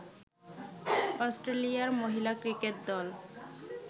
অস্ট্রেলিয়ার মহিলা ক্রিকেট দল